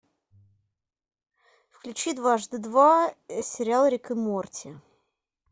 включи дважды два сериал рик и морти